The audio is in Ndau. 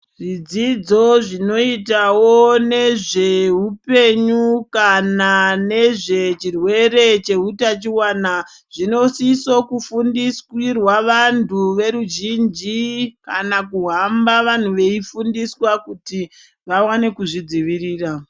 Zvidzidzo zvinoitawo nezvehupenyu kana nezvechirwere cheutachiwana zvinosisa kufundisirwa vantu veruzhinji kana kuhamaba vanhu veifundiswa kuti vawane kuzvidzivirira.